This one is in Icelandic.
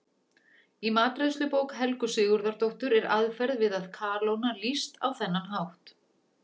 Í matreiðslubók Helgu Sigurðardóttur er aðferð við að kalóna lýst á þennan hátt: